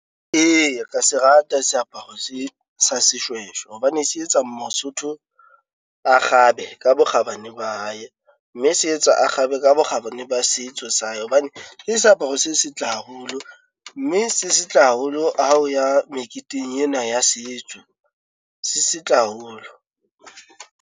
Eya kea se rata seaparo se sa seshweshwe, hobane se etsa Mosotho a kgabe ka bokgabane ba hae. Mme se etsa a kgabe ka bokgabane ba setso sa ye. Hobane ke seaparo se setle haholo, mme se setle haholo ha o ya meketeng ena ya setso se setle haholo.